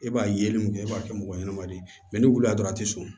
E b'a yeli mun kɛ e b'a kɛ mɔgɔ ɲɛnama de ye n'i wulila dɔrɔn a tɛ sɔn